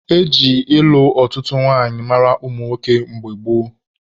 Eji ịlụ ọtụtụ nwanyị mara ụmụ nwoke mgbe gboo.